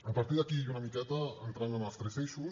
a partir d’aquí i una miqueta entrant en els tres eixos